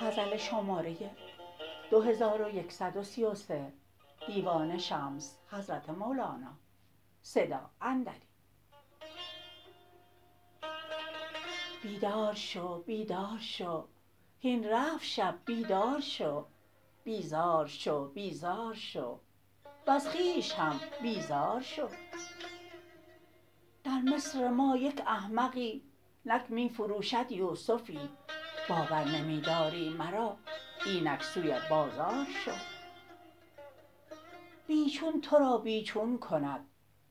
بیدار شو بیدار شو هین رفت شب بیدار شو بیزار شو بیزار شو وز خویش هم بیزار شو در مصر ما یک احمقی نک می فروشد یوسفی باور نمی داری مرا اینک سوی بازار شو بی چون تو را بی چون کند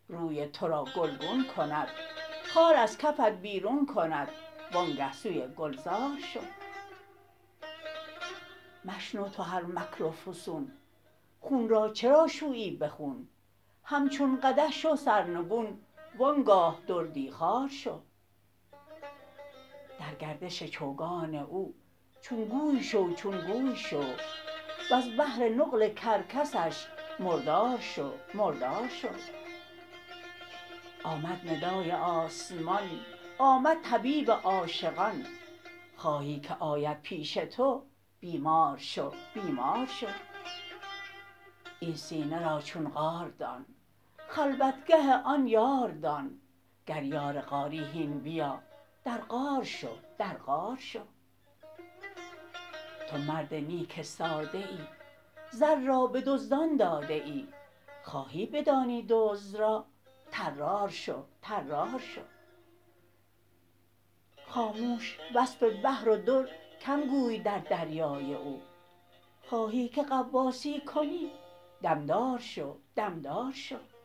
روی تو را گلگون کند خار از کفت بیرون کند وآنگه سوی گلزار شو مشنو تو هر مکر و فسون خون را چرا شویی به خون همچون قدح شو سرنگون و آن گاه دردی خوار شو در گردش چوگان او چون گوی شو چون گوی شو وز بهر نقل کرکسش مردار شو مردار شو آمد ندای آسمان آمد طبیب عاشقان خواهی که آید پیش تو بیمار شو بیمار شو این سینه را چون غار دان خلوتگه آن یار دان گر یار غاری هین بیا در غار شو در غار شو تو مرد نیک ساده ای زر را به دزدان داده ای خواهی بدانی دزد را طرار شو طرار شو خاموش وصف بحر و در کم گوی در دریای او خواهی که غواصی کنی دم دار شو دم دار شو